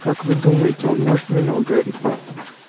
как вы думаете он может меня ударить